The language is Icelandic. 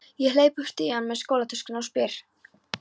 Ég hleyp upp stigann með skólatöskuna og spyr eftir